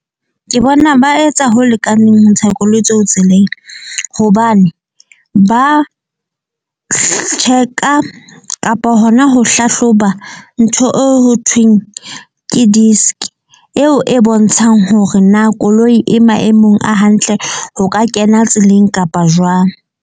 Ke bona ba etsa ho lekaneng ho ntsha koloi tseo tseleng. Hobane ba check-a kapa hona ho hlahloba ntho eo ho thweng ke disk. Eo e bontshang hore na koloi e maemong a hantle. O ka kena tseleng kapa jwang.